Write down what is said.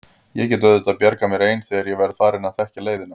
Ég get auðvitað bjargað mér ein þegar ég verð farin að þekkja leiðina.